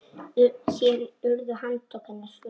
Síðan urðu handtök hennar hröð.